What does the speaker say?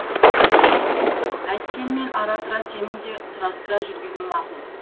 әйткенмен ара тұра сенің де сұрастыра жүргенің мақұл